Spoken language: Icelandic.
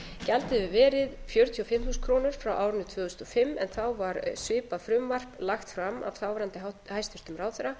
gjaldið hefur verið fjörutíu og fimm þúsund krónur frá árinu tvö þúsund og fimm en þá var svipað frumvarp lagt fram af þáverandi hæstvirtur ráðherra